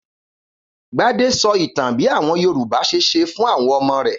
Gbadé sọ ìtàn bí àwọn Yorùbá ṣe ṣẹ̀ fún àwọn ọmọ rẹ̀.